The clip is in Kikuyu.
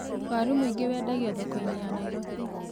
Waru mwĩingĩ wendagio thoko-inĩ ya Nairobi.